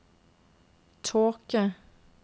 tåke